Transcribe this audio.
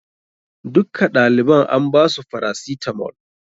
Dukka ɗaliban an ba su farasitamol.